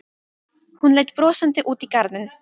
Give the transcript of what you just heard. Hún leit brosandi út í garðinn.